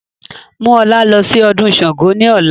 Mú ọlá lọ sí ọdún Sángo ni ọ̀la!